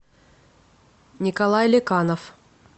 николай леканов